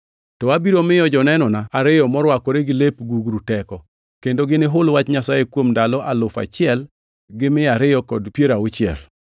To abiro miyo jonenona ariyo morwakore gi lep gugru teko, kendo ginihul wach Nyasaye kuom ndalo alufu achiel gi mia ariyo kod piero auchiel.”